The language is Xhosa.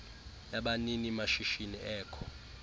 yabanini mashishini ekho